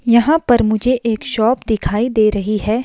यहां पर मुझे एक शॉप दिखाई दे रही है।